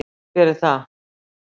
Hver er það?